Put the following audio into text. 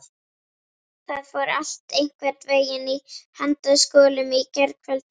Það fór allt einhvern veginn í handaskolum í gærkvöldi.